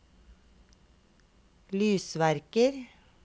lysverker